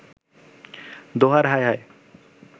দোহার, হায় হায়